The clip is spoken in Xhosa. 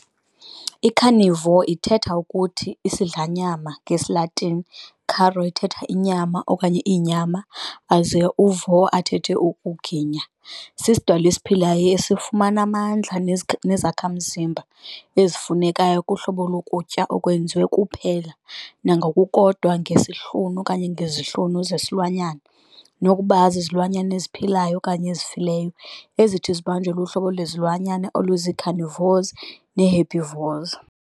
I-carnivore ithetha ukuthi 'isidlanyama' ngesi, Latini, "caro" ithetha 'inyama' or 'inyama' aze u"vorare" athethe ukuthi 'ginya', sisidalwa esiphilayo esifumana amandla nezakhamzimba ezifunekayo kuhlobo lokutya okwenziwe kuphela nangokukodwa ngeIsihlunu|zihlunu zesilwanyana nokokuba zizilwanyana eziphilayo okanye ezifileyo ezithi zibanjwe luhlobo lwezilwanyana oluzii-carnivores nee-herbivores.